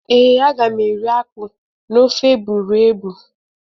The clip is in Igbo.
Ee, aga m eri akpụ na ofe egbụregbụ